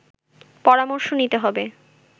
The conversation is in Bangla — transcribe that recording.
পরামর্শ নিতে হবে